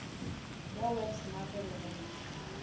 ya web smart re go